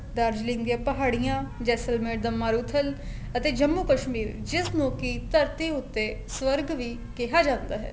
ਦਾਰਜਲਿੰਗ ਦੀਆਂ ਪਹਾੜੀਆਂ ਜੈਸਲਮੇਰ ਦਾ ਮਾਰੂਥਲ ਅਤੇ ਜੰਮੂ ਕਸ਼ਮੀਰ ਜਿਸ ਨੂੰ ਕੀ ਧਰਤੀ ਉੱਤੇ ਸਵਰਗ ਵੀ ਕਿਹਾ ਜਾਂਦਾ ਹੈ